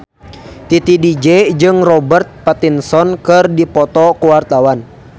Titi DJ jeung Robert Pattinson keur dipoto ku wartawan